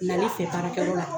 Nali fɛ baarakɛyɔrɔ la